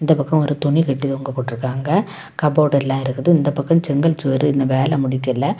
இந்த பக்கம் ஒரு துணி கட்டி தொங்க போட்டுருக்காங்க. கபோர்டு எல்லாம் இருக்குது. இந்த பக்கம் செங்கல் சுவரு இன்னும் வேல முடிக்கல.